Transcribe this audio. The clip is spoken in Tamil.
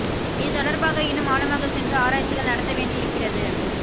இது தொடர்பாக இன்னும் ஆழமாக சென்று ஆராய்ச்சிகள் நடத்த வேண்டி இருக்கிறது